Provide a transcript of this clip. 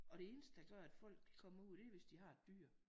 Og det eneste der gør at folk de kommer ud det er hvis de har et dyr